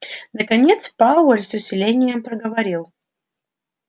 наконец пауэлл с усилением проговорил